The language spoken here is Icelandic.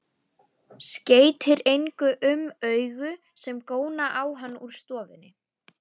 Skeytir engu um augu sem góna á hann úr stofunni.